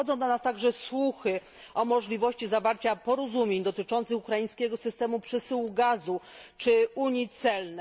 Dochodzą do nas także słuchy o możliwości zawarcia porozumień dotyczących ukraińskiego systemu przesyłu gazu czy unii celnej.